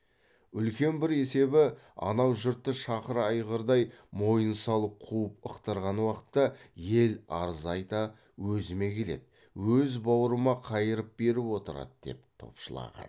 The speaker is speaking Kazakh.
үлкен бір есебі анау жұртты шақыр айғырдай мойын салып қуып ықтырған уақытта ел арыз айта өзіме келеді өз бауырыма қайырып беріп отырады деп топшылаған